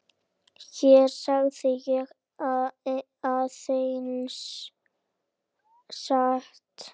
Hér segi ég aðeins satt.